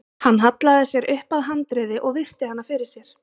Hann hallaði sér upp að handriði og virti hana fyrir sér.